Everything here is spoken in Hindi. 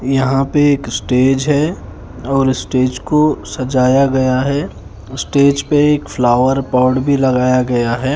यहाँ पे एक स्टेज है और स्टेज को सजाया गया है उस स्टेज पे फ्लॉवर पॉट भी लगाया गया है।